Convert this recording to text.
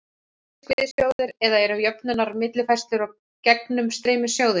Fiskveiðasjóður, eða eru jöfnunar-, millifærslu- og gegnumstreymissjóðir.